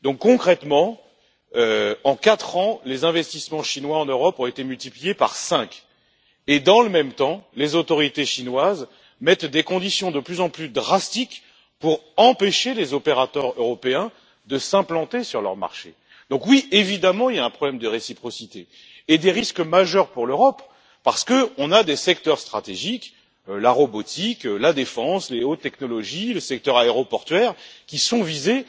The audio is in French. Concrètement, en quatre ans, les investissements chinois en Europe ont été multipliés par cinq et, dans le même temps, les autorités chinoises imposent des conditions de plus en plus strictes pour empêcher les opérateurs européens de s'implanter sur leur marché. Oui, évidemment, il y a un problème de réciprocité et des risques majeurs pour l'Europe, parce que nos secteurs stratégiques, comme la robotique, la défense, les hautes technologies et le secteur aéroportuaire, sont visés.